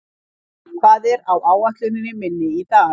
Bergrín, hvað er á áætluninni minni í dag?